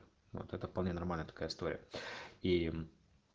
вот это вполне нормальная такая история и